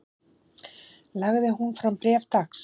Lagði hún fram bréf dags